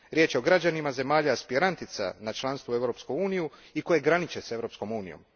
Riječ je o građanima zemalja aspirantica na članstvo u Europskoj uniji i koje graniče s Europskom unijom.